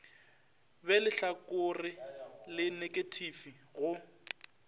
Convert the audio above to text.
be lehlakore la neketifi go